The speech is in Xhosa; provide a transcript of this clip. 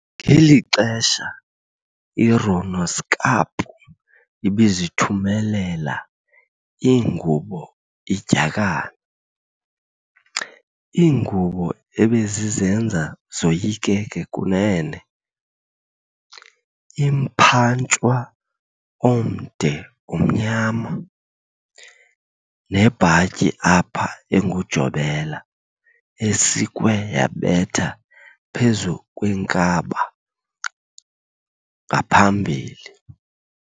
Ngeli xesha i"Ronoskapu", Genoedschap, ibizithumela iingubo idyakana, ingubo ebezizenza zoyikeke kunene, umphantshwa omde omnyama, nebhatyi apha engujobela esikwe yabetha phezu kwenkaba ngaphambili.